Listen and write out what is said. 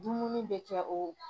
Dumuni bɛ kɛ o